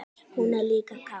Hún er líka kát.